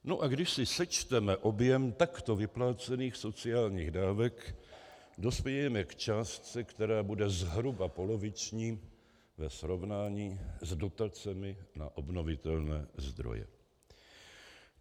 No a když si sečteme objem takto vyplácených sociálních dávek, dospějeme k částce, která bude zhruba poloviční ve srovnání s dotacemi na obnovitelné zdroje.